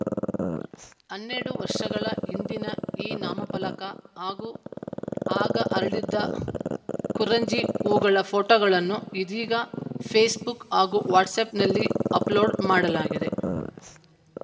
ಹನ್ನೆರಡು ವರ್ಷಗಳ ಹಿಂದಿನ ಈ ನಾಮಫಲಕ ಹಾಗೂ ಆಗ ಅರಳಿದ್ದ ಕುರಂಜಿ ಹೂಗಳ ಫೋಟೋಗಳನ್ನು ಇದೀಗ ಫೇಸ್‌ಬುಕ್‌ ಹಾಗೂ ವಾಟ್ಸ್‌ಆ್ಯಪ್‌ನಲ್ಲಿ ಅಪ್‌ಲೋಡ್‌ ಮಾಡಲಾಗಿದೆ